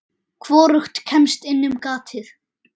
Hvorugt kemst inn um gatið.